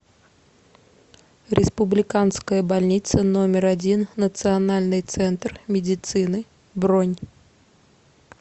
республиканская больница номер один национальный центр медицины бронь